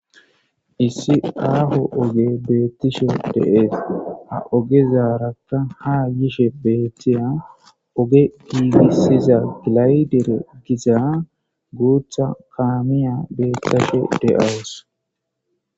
Issi ago ogey betishe de'es ogezaraka haa yishe beetiza oge besiza layte xompiza guutha kamiya beetesha de'aws.